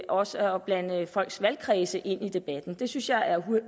også at blande folks valgkredse ind i debatten det synes jeg er